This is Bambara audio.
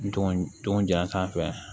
N dɔgɔ don ja sanfɛ